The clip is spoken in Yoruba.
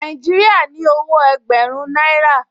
Nàìjíríà ní owó ẹgbẹ̀rún náírà